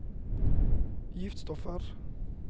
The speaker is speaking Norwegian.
giftstoffer